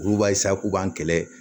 Olu b'a k'u b'an kɛlɛ